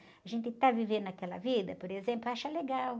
A gente está vivendo aquela vida, por exemplo, acha legal.